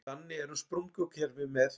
Þannig er um sprungukerfi með